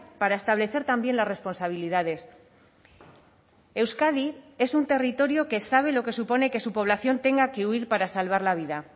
para establecer también las responsabilidades euskadi es un territorio que sabe lo que supone que su población tenga que huir para salvar la vida